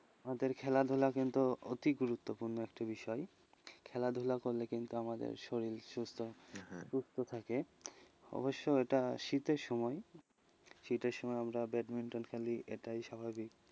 আমাদের খেলাধুলা কিন্তু অতি গুরুত্বপূর্ণ একটি বিষয়, খেলাধুলা করলে কিন্তু আমাদের শরীর সুস্থ থাকে, অবশ্য এটা শীতের সময়, শীতের সময় আমরা ব্যাডমিন্টন খেলি এটাই স্বাভাবিক,